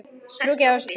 Trúi ekki á þessa tuggu.